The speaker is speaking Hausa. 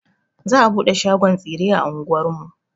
Za a buɗe shagon tsire a anguwar mu.